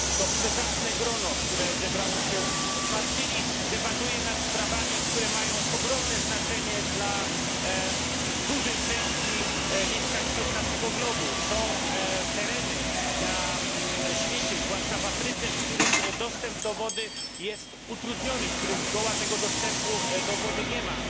To przezacne grono, które się zebrało się w Marsylii, debatuje nad sprawami, które mają ogromne znaczenie dla dużej części mieszkańców naszego globu. Są tereny na świecie, zwłaszcza w Afryce, w których dostęp do wody jest utrudniony, w którym zgoła tego dostępu do wody nie ma.